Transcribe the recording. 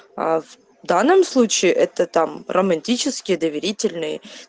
а в данном случае это там романтические доверительные